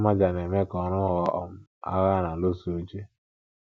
Mmaja na - eme ka ọrụ ghọọ um agha a na - alụso uche